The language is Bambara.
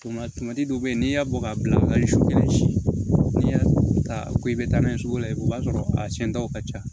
Tuma dɔw bɛ yen n'i y'a bɔ k'a bila su kelen n'i y'a ta ko i bɛ taa n'a ye sugu la o b'a sɔrɔ a siɲɛntɔw ka ca